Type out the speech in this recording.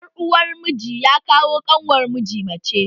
Yar uwar miji ya ko kanwar miji ce